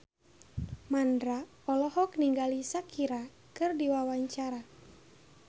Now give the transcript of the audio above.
Mandra olohok ningali Shakira keur diwawancara